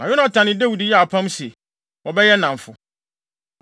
Na Yonatan ne Dawid yɛɛ apam sɛ, wɔbɛyɛ nnamfo.